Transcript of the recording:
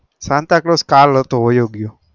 santa claus કાલ હતો વાયો ગયો